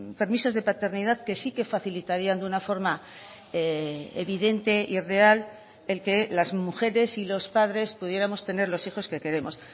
permisos de paternidad que sí que facilitarían de una forma evidente y real el que las mujeres y los padres pudiéramos tener los hijos que queremos